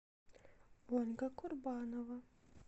ольга курбанова